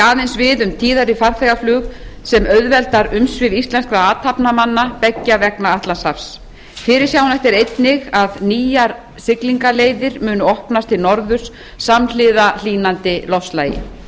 við um tíðara farþegaflug sem auðveldar umsvif íslenskra athafnamanna beggja vegna atlantshafs fyrirsjáanlegt er einnig að nýjar siglingaleiðir muni opnast til norðurs samhliða hlýnandi loftslagi